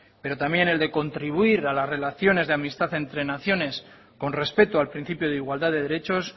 pero también el de contribuir a las relaciones de amistad entre naciones con respeto al principio de igualdad de derechos